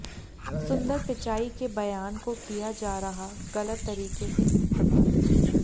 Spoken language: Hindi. सुंदर पिचाई के बयान को किया जा रहा गलत तरीके से इस्तेमाल